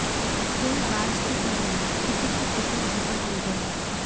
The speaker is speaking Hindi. कोई बाज की तरह किसी की टिकट झपट ले गया